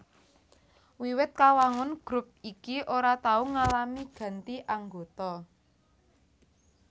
Wiwit kawangun grup iki ora tau ngalami ganti anggota